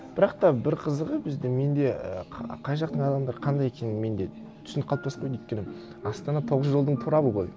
бірақ та бір қызығы біздің менде ііі қай жақтың адамдары қандай екенін менде түсінік қалыптасып қойды өйткені астана тоғыз жолдың торабы ғой